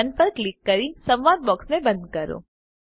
Don પર click કરી સંવાદ બોક્સને બંધ કરો